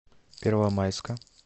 первомайска